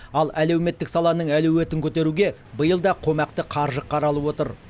ал әлеуметтік саланың әлеуетін көтеруге биыл да қомақты қаржы қаралып отыр